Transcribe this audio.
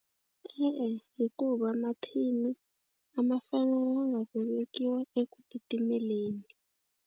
E-e, hikuva mathini a ma fanele ma nga vekiwa eku titimeleni.